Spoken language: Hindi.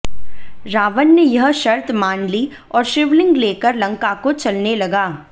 रावण ने यह शर्त मान ली और शिवलिंग लेकर लंका को चलने लगा